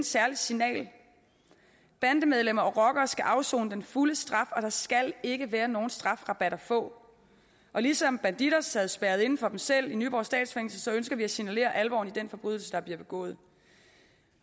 særligt signal bandemedlemmer og rockere skal afsone den fulde straf og der skal ikke være nogen strafrabat at få og ligesom bandidos sad spærret inde for sig selv i nyborg statsfængsel ønsker vi at signalere alvoren i den forbrydelse der bliver begået